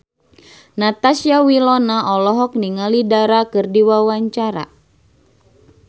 Natasha Wilona olohok ningali Dara keur diwawancara